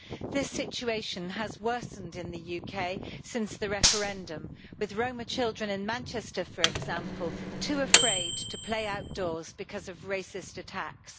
This situation has worsened in the UK since the referendum with Roma children in Manchester, for example, too afraid to play outdoors because of racist attacks.